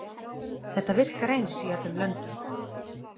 Þetta virkar eins í öllum löndum.